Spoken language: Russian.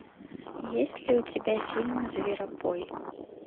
есть ли у тебя фильм зверопой